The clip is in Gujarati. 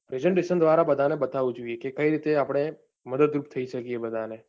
presentation દ્વારા બધાને બતાવવું જોઈએ કે કઈ રીતે આપણે મદદરૂપ થઇ શકીયે બધાને